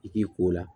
I k'i ko o la